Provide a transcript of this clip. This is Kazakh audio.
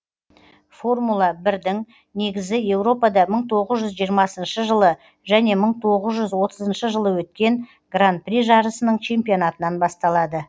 формула бірдің негізі еуропада мың тоғыз жүз жиырмасыншы жылы және мың тоғыз жүз отызыншы жылы өткен гран при жарысының чемпионатынан басталады